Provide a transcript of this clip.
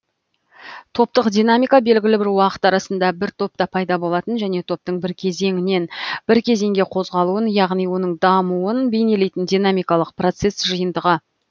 топтық динамика белгілі бір уақыт арасында бір топта пайда болатын және топтың бір кезеңнен бір кезеңге қозғалуын яғни оның дамуын бейнелейтін динамикалық процесс жиынтығы